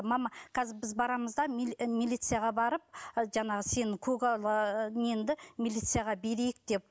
мама қазір біз барамыз да милицияға барып і жаңағы сені көгала неңді милицияға берейік деп